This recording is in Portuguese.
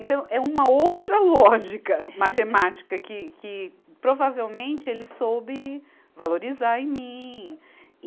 Então, é uma outra lógica matemática que, que provavelmente, ele soube valorizar em mim.